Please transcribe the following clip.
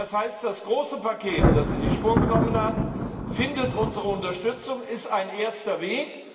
Das heißt Das große Paket, das Sie sich vorgenommen haben, findet unsere Unterstützung, es ist ein erster Weg.